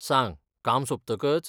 सांग, काम सोंपतकच?